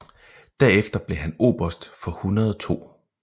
Derefter blev han oberst for 102